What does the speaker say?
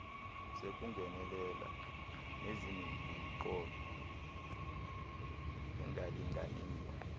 sekungenelela nezinemiqolo engalinganiyo